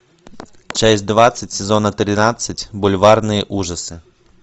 часть двадцать сезона тринадцать бульварные ужасы